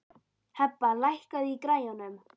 Hebba, lækkaðu í græjunum.